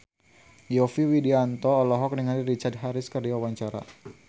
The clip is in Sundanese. Yovie Widianto olohok ningali Richard Harris keur diwawancara